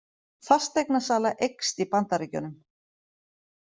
Fasteignasala eykst í Bandaríkjunum